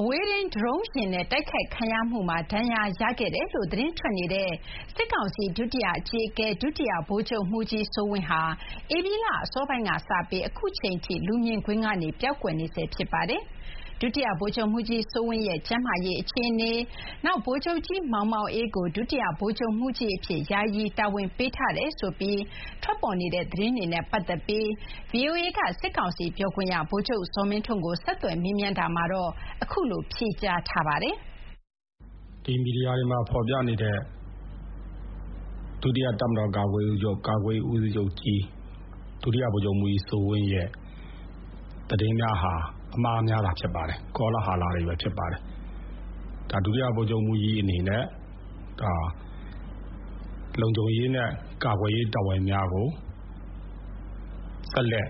အဝေးထိန်း ဒရုန်းယာဉ်နဲ့ တိုက်ခိုက်ခံရမှုမှာ ဒဏ်ရာရတယ်လို့ သတင်းထွက်နေတဲ့ စစ်ကောင်စီ ဒုတိယအကြီးအကဲ ဒုတိယ ဗိုလ်ချုပ်မှူးကြီး စိုးဝင်းဟာ ဧပြီလ အစောပိုင်းက စပြီး အခုချိန်အထိ လူမြင်ကွင်းကနေ ပျောက်ကွယ်နေဆဲ ဖြစ်ပါတယ်။ ဒုတိယ ဗိုလ်ချုပ်မှူးကြီး စိုးဝင်းရဲ့ ကျန်းမာရေးအခြေအနေ၊ နောက် ဗိုလ်ချုပ်ကြီး မောင်မောင်အေးကို ဒုတိယ ဗိုလ်ချုပ်မှူးကြီးအဖြစ် ယာယီ တာဝန်ပေးထားတယ်ဆိုပြီး ထွက်ပေါ်နေတဲ့ သတင်းတွေနဲ့ ပတ်သက်ပြီး ဗွီအိုအေက စစ်ကောင်စီပြောခွင့်ရ ဗိုလ်ချုပ် ဇော်မင်းထွန်းကို ဆက်သွယ် မေးမြန်းတာမှာတော့ အခုလို ဖြေကြားပါတယ်။ " မီဒီယာတွေမှာ ဖေါ်ပြနေတဲ့ ဒုတိယ တပ်မတော်ကာကွယ်ရေးဦးစီးချုပ် ဒုဗိုလ်ချုပ်မှူးကြီး စိုးဝင်းရဲ့ သတင်းများဟာ အမှားများသာဖြစ်ပါတယ်။ ကောလဟာလတွေပဲ ဖြစ်ပါတယ်။ ဒါ ဒုတိယ ဗိုလ်ချုပ်မှူးကြီး အနေနဲ့ လုံခြုံရေးနဲ့ ကာကွယ်ရေး တာဝန်များကို ဆက်လက်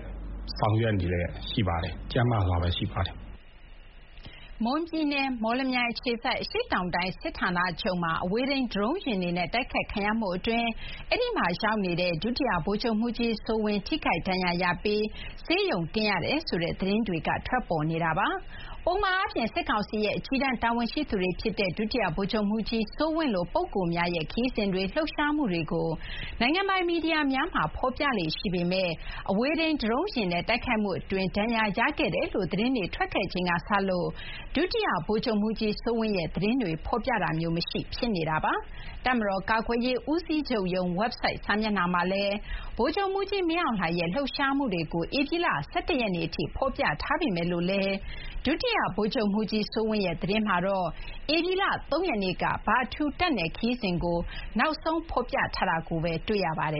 ဆောင်ရွက်နေလျက် ရှိပါတယ်။ ကျန်းမာစွာနဲ့ ရှိပါတယ်။ " မွန်ပြည်နယ် မော်လမြိုင်မြို့အခြေစိုက် အရှေ့တောင်တိုင်း စစ်ဌာနချုပ်မှာ အဝေးထိန်း ဒရုန်းယာဉ်တွေနဲ့ တိုက်ခိုက်ခံရမှုအတွင်း အဲဒီမှာရောက်နေတဲ့ ဒုတိယ ဗိုလ်ချုပ်မှူးကြီး စိုးဝင်း ထိခိုက်ဒဏ်ရာရပြီး ဆေးရုံတင်ရတယ်ဆိုတဲ့ သတင်းတွေ ထွက်ပေါ်နေတာပါ။ ပုံမှန်အားဖြင့် စစ်ကောင်စီရဲ့ အကြီးတန်း တာဝန်ရှိသူတွေဖြစ်တဲ့ ဒုတိယ ဗိုလ်ချုပ်မှူးကြီး စိုးဝင်းလို ပုဂ္ဂိုလ်များရဲ့ ခရီးစဉ်တွေ လှုပ်ရှားမှုတွေကို နိုင်ငံပိုင် မီဒီယာများမှာ ဖော်ပြလေ့ ရှိပေမဲ့ အဝေးထိန်း ဒရုန်းယာဉ်နဲ့ တိုက်ခိုက်မှုအတွင်း ဒဏ်ရာ ရခဲ့တယ်လို့ သတင်းတွေ ထွက်ခဲ့ချိန်ကစလို့ ဒုတိယ ဗိုလ်ချုပ်မှူးကြီး စိုးဝင်းရဲ့ သတင်းတွေ ဖော်ပြတာမျိုး မရှိ ဖြစ်နေပါတယ်။ တပ်မတော် ကာကွယ်ရေး ဦးစီးချုပ်ရုံး ဝက်ဘ်ဆိုက် စာမျက်နှာမှာလည်း ဗိုလ်ချုပ်မှူးကြီး မင်းအောင်လှိုင်ရဲ့ လှုပ်ရှားမှုတွေကို ဧပြီလ ၁၁ ရက်နေ့ထိ ဖော်ပြထားပေမဲ့လို့လည်း ဒုတိယ ဗိုလ်ချုပ်မှူးကြီး စိုးဝင်းရဲ့ သတင်းမှာတော့ ဧပြီလ ၃ ရက်နေ့က ဗထူး တပ်နယ်ခရီးစဉ်ကို နောက်ဆုံး ဖော်ပြထားတာ တွေ့ရပါတယ